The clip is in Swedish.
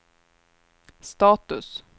status